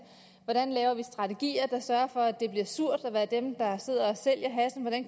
hvordan vi laver strategier der sørger for at det bliver surt at være dem der sidder